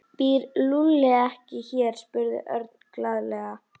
Býr Lúlli ekki hér? spurði Örn glaðlega.